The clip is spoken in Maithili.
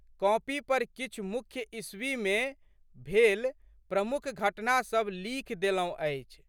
कॉपी पर किछु मुख्य ईस्वीमे भेल प्रमुख घटना सब लिखि देलौं अछि।